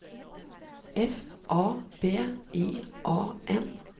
F A B I A N